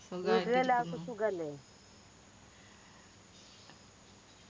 സുഖല്ലേ